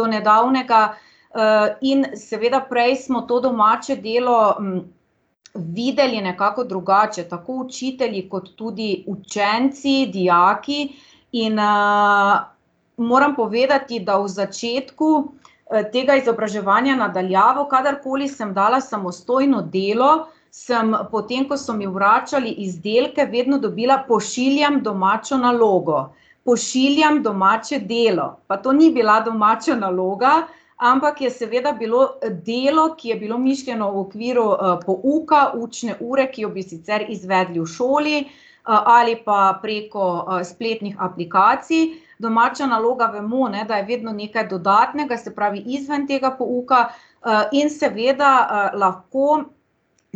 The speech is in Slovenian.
do nedavnega. in seveda prej smo to domače delo videli nekako drugače, tako učitelji kot tudi učenci, dijaki. In, moram povedati, da v začetku, tega izobraževanja na daljavo, kadarkoli sem dala samostojno delo, samo, potem ko so mi vračali izdelke, vedno dobila: "Pošiljam domačo nalogo. Pošiljam domače delo." Pa to ni bila domača naloga, ampak je seveda bilo, delo, ki je bilo mišljeno v okviru, pouka, učne ure, ki jo bi sicer izvedli v šoli, ali pa preko spletnih aplikacij. Domača naloga, vemo, ne, da je vedno nekaj dodatnega, se pravi, izven tega pouka, in seveda, lahko